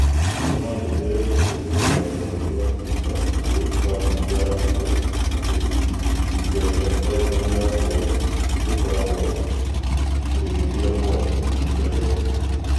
Tũma ndũmĩrĩri kũhitũkĩra rũhonge rũa tũitar kũrĩ kambũni ya Apple atĩ ĩthiga rĩa iPhone yakwa rĩkoragwo rĩgĩthira mwaki ihinda rĩothe